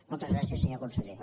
moltes gràcies senyor conseller